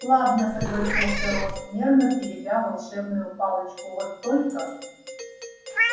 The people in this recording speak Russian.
ладно согласился рон нервно теребя волшебную палочку вот только